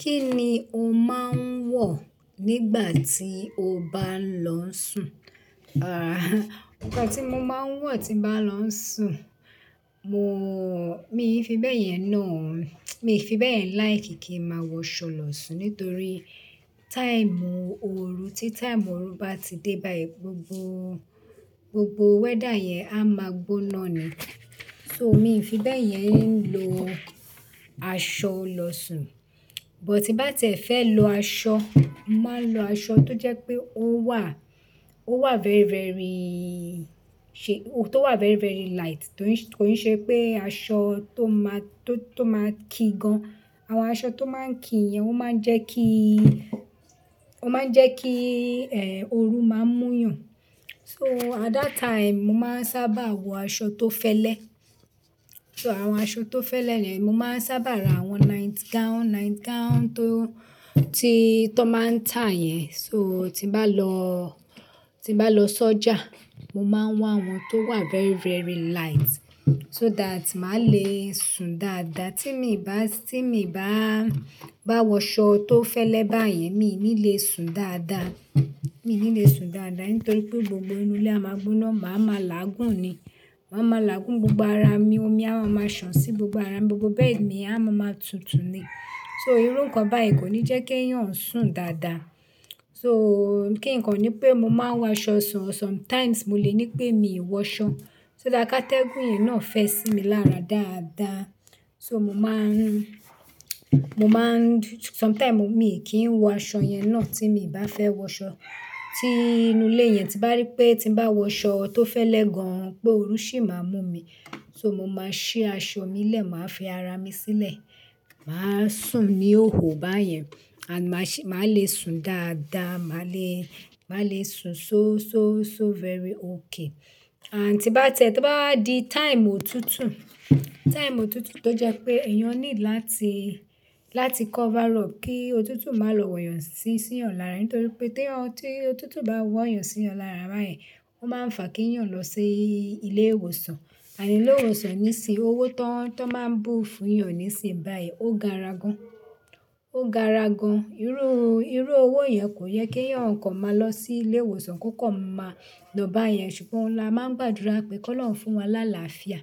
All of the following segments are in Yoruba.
Kí ni o máa ń wọ̀ nígbà tí o bá ń lọ sùn? Nǹkan tí mo máa ń wọ̀ tí mbá lọ n sùn, mo, mii fi bẹ́ẹ̀ yẹn náà, mi fi bẹ́ẹ̀ yẹn láìkí kí n màá wọṣọ lọ sùn nítorí táìmù oru tí táìmù oru bá ti dé báyìí, gbogbo, gbogbo wẹ́dà yẹn á máa gbóná ni. So mi n fi bẹ́ẹ̀ yẹn ń lo aṣọ lọ sùn. But bí bá tìẹ fẹ́ lo aṣọ, máa ń lo aṣọ tó jẹ́ pé ó wà, ó wà very, very ṣe-- tó wà very, very light, kó ń ṣe pé aṣọ tó máa, tó, tó máa kí gan. Àwọn aṣọ tó máa ń kí yẹn ó máa ń jẹ́ kí, ó máa ń jẹ́ kí, oru máa ń mú yàn. So at that time, mo máa ń sábà wọ aṣọ tó fẹ́lẹ́. So àwọn aṣọ tó fẹ́lẹ́ yen mo máa ń sábà ra àwọn night gown, night gown tó, tí, tó máa ń tà yẹn. So tí bá lọ, tí mbá lọ sọ́jà, mo máa ń wá àwọn tó wà very, very light so that màá le sùn dáadáa. Tí mi bá, tí mi baá, bá wọṣọ tó fẹ́lẹ́ bá yẹn, mii ni le sùn dáadáa. Mii ni le sùn dáadáa nítorí pé gbogbo inú ilé á máa gbóná, màá ma làágùn ni. Màá ma làágùn, gbogbo ara mi, omi á máa maa sàn sí gbogbo ara mi, gbogbo bẹ́ẹ̀dì mi á máa maa tútù ni. So irú nǹkan bá yẹn kò ní jẹ́ k'ẹ̀yán sùn dáadáa. So kí nǹkan ni pé mo máa ń wọ aṣọ sùn, sometimes mo le ní pé mi ò wọ ṣọ. So that kátẹ́gùn yẹn náà fẹ́ sí mi lára dáadáa. So mo máa ń, mo máa ń, sometime mi kì í wọ aṣọ yẹn náà tí mi bá fẹ́ wọ ṣọ. Tí inú ilé yẹn ti bá rí pé tí bá wọ ṣọ tó fẹ́lẹ́ gan, pé oru sì máa mú mi. So mo máa ṣí aṣọ mi lẹ̀, màá fi ara mi sílẹ̀, màá sùn ní hòhò bá yẹn. Màá le sùn dáadáa, màá le, màá le sùn so, so, so very okay. And tí bá tiẹ́, tó bá wa di time òtútù, time òtútù tó jẹ́ pé ẹ̀yán need láti, láti cover up kí òtútù má lọ wọ̀ yàn sí, sí yan lárá. Nítorí pé teyan, tí òtútù bá wọ̀ yàn sí yàn lárá bá yẹn, ó máa ń fà k' ẹ̀yán lọ sí ilé ìwòsàn. Ànd ilé ìwòsàn ní sìn owó tón, tó máa ń bú fún yàn ní sìn báyìí. Ó gara gan. Ó gara gan. Irú, irú owó yẹn kò yẹ k'ẹ̀yán kan máa lọ sí ilé ìwòsàn ko kan máa lọ bá yẹn. Ṣùgbọ́n oun la máa ń gbàdúrà pé kó lọun fún wa láláàfíà.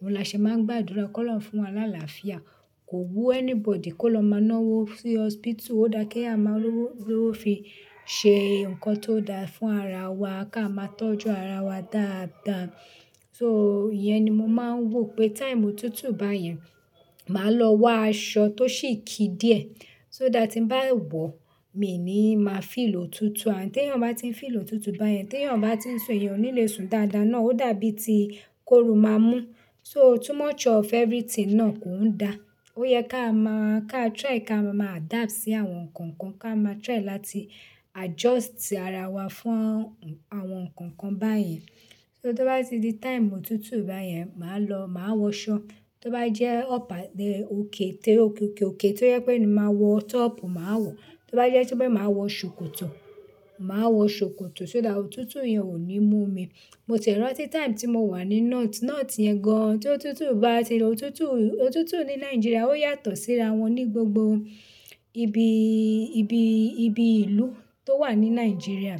Òun la ṣe máa ń gbàdúrà kó lọun fún wa làláà fíà. Kò wú anybody kó lọ máa ná'wó sí hospital. Ó dá kí a máa lowo, lowó fi ṣee nǹkan tó dáa fún ara wa ká máa tọ́jú ara wa dáadáa. So ìyẹn ni mo máa ń wò pé time òtútù bá yẹn, màá lọ wá aṣọ tó ṣì kí díẹ̀. So that tí mbá wọ̀, mi ni màá feel òtútù. And tẹ̀yán bá ti ń feel òtútù bá yẹn, t'ẹ̀yán bá ti ń sùn, ẹ̀yàn ò ní le sùn dáadáa náà. Ó dàbí tí kóru máa mú. So too much of everything náà kò ń da. Ó yẹ ká máa, ká try ká máa adapt sí àwọn nǹkan kan, ká máa try láti adjust ara wa fún àwọn, àwọn nǹkan kan bá yẹn. So tí ó bá ti di time òtútù bá yẹn, màá lọ, màá wọ aṣọ. Tó bá jẹ́ ọ̀pa, iyen oke tẹ́ oke oke oke tí ó jẹ pé ni màá wọ top, màá wọ̀. Tí ó bá jẹ́ tí pé màá wọ ṣòkòtò, màá wọ ṣòkòtò so that òtútù yẹn ò ní mú mi. Mo tiẹ rántí time tí mo wà ní North, North yẹn gan, to òtútù bá ti lọ, òtútù, òtútù ní Nigeria ó yàtọ̀ síra wọn ní gbogbo ibi, ibi, ibi ìlú tó wà ní Nigeria.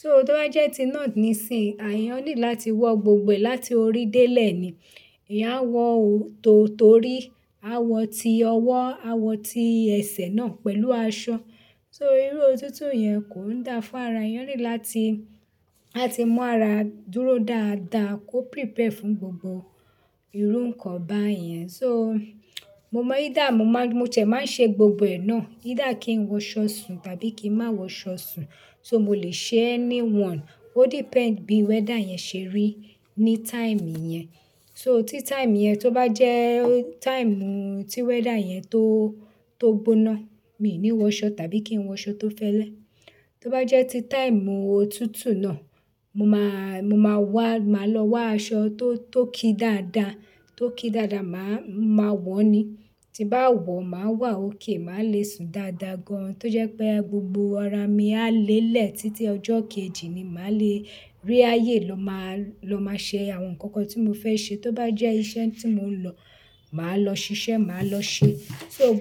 So tí ó bá jẹ́ ti North ní sìsin, eyàn need láti wọ gbogbo ẹ̀ láti orí dé lẹ̀ ni. Eyán a wọ tò torí, a wọ ti ọwọ́, a wọ ti ẹsẹ̀ náà pẹ̀lú aṣọ. So irú òtútù yẹn kò ń dáa fún ara. Ẹ̀yàn need láti, láti mú ara dúró dáadáa, kó prepare fún gbogbo irú nǹkan bá yẹn. So mo mọ either mo máa ń, mo tie máa ń ṣe gbogbo ẹ̀ náà. Either kí n wọ aṣọ sùn tàbí kí n má wọ ṣọ sùn. So mo lè ṣe anyone. Ó depend bí weather yẹn ṣe rí ní time yẹn. So tí time yẹn tó bá jẹ́ time tí weather yẹn tó, tó gbóná, mii ní wọ ṣọ tàbí kí n wọ ṣọ tó fẹ́lẹ́. Tó bá jẹ́ tí time òtútù náà, mo máa, mo máa wá, màá lọ wá aṣọ tó, tó kí dáadáa, tó kí dáadáa, màá, màá wọ̀ ni. Tí mbá wọ̀, màá wà okay, màá le sùn dáadáa gan. Tó jẹ́ pé gbogbo ara mi á lé lẹ̀ títí ọjọ́ kejì ni màá le rí ayé lọ máa, lọ máa ṣe àwọn ǹkankan tí mo fẹ́ ṣe. Tó bá jẹ́ iṣẹ́ tí mò ń lọ, màá lọ ṣiṣẹ́, màá lọ ṣe. So gbo.